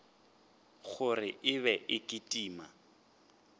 gore e be e kitima